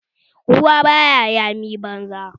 Ruwa basu yami banza